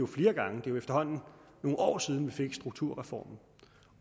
flere gange det er efterhånden nogle år siden vi fik strukturreformen